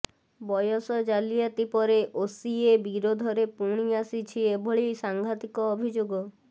ବୟସ ଜାଲିଆତି ପରେ ଓସିଏ ବିରୋଧରେ ପୁଣି ଆସିଛି ଏଭଳି ସାଂଘାତିକ ଅଭିଯୋଗ